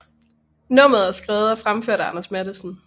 Nummeret er skrevet og fremført af Anders Matthesen